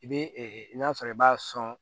I bɛ n'a sɔrɔ i b'a sɔn